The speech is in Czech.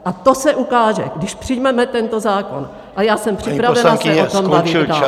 A to se ukáže, když přijmeme tento zákon, a já jsem připravena se o tom bavit dál.